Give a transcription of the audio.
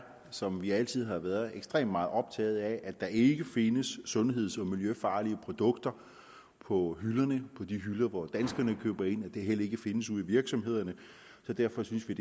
som vi altid har været ekstremt meget optaget af at der ikke findes sundheds og miljøfarlige produkter på de hylder hvor danskerne køber ind og at det heller ikke findes ude i virksomhederne så derfor synes vi